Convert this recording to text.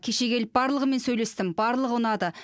кеше келіп барлығымен сөйлестім барлығы ұнады